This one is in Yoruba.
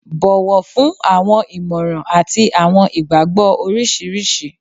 Bọ̀wọ̀ fún awọn ìmọ̀ràn àti àwọn ìgbàgbọ́ oríṣiríṣi